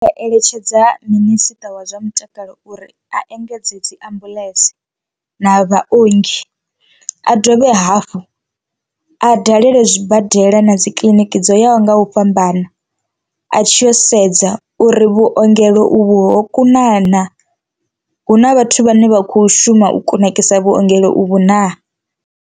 Eletshedza minisiṱa wa zwa mutakalo uri a engedze dzi ambuḽentse na vhaongi, a dovhe hafhu a dalele zwibadela na dzikiḽiniki dzo yaho nga u fhambana a tshi yo sedza uri vhuongelo uvhu hokuna naa hu na vhathu vhane vha kho shuma u kunakisa vhuongelo uvhu naa.